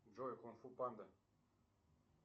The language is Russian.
джой кунг фу панда